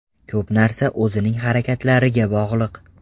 Ko‘p narsa o‘zining harakatlariga bog‘liq.